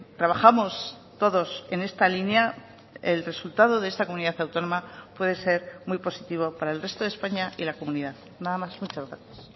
trabajamos todos en esta línea el resultado de esta comunidad autónoma puede ser muy positivo para el resto de españa y la comunidad nada más muchas gracias